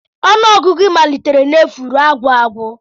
Ọnụọgụgụ malitere n'efu ruo agwụagwụ